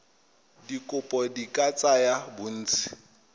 dikopo di ka tsaya bontsi